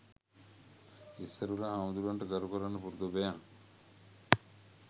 ඉස්සරවෙලා හාමුදුරුවන්ට ගරු කරන්න පුරුදු වෙයන්